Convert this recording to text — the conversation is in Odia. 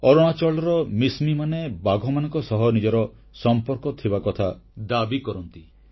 ଅରୁଣାଚଳର ମିଶମୀମାନେ ବାଘମାନଙ୍କ ସହ ନିଜର ସମ୍ପର୍କ ଥିବା କଥା ଦାବି କରନ୍ତି